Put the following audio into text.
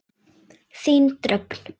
Þín Dröfn.